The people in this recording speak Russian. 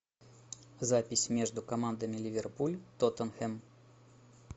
запись между командами ливерпуль тоттенхэм